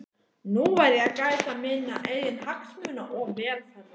Nú verð ég að gæta minna eigin hagsmuna og velferðar.